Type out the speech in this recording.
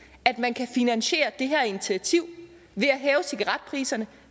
at man kan finansiere det her initiativ ved at hæve cigaretpriserne